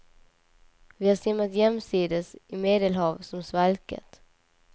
Vi har simmat jämsides i medelhav som svalkat.